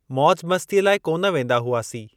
मौज मस्तीअ लाइ कोन वेंदा हुआसी।